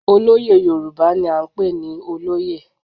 Olóyè Yorùbá ni à ń pè ní olóyè.